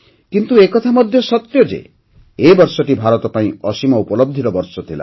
କିନ୍ତୁ ଏକଥା ମଧ୍ୟ ସତ୍ୟ ଯେ ଏ ବର୍ଷଟି ଭାରତ ପାଇଁ ଅସୀମ ଉପଲବଧିର ବର୍ଷ ଥିଲା